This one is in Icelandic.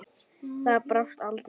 Það brást aldrei.